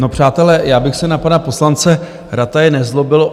No přátelé, já bych se na pana poslance Rataje nezlobil.